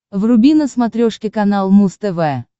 вруби на смотрешке канал муз тв